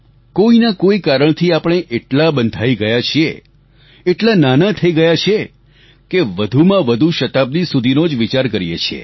કોઈના કોઈ કારણથી આપણે એટલા બંધાઈ ગયા છીએ એટલા નાના થઈ ગયા છીએ કે વધુમાં વધુ શતાબ્દી સુધીનો જ વિચાર કરીએ છીએ